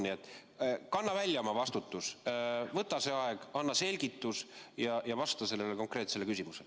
Nii et kanna välja oma vastutus, võta see aeg, anna selgitus ja vasta konkreetsele küsimusele.